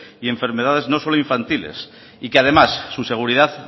y enfermedades no solo infantiles y que además su seguridad